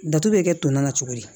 Datugu bɛ kɛ tɔn na cogo di